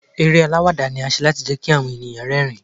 Eré àwàdà ni a ṣe láti jẹ́ kí àwọn ènìyàn rẹ́ rìn-ín.